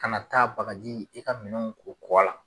Kana taa bagaji i ka minɛnw ko kɔ la.